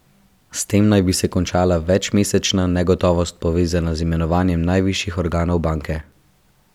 S tem naj bi se končala večmesečna negotovost, povezana z imenovanjem najvišjih organov banke.